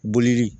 Bolili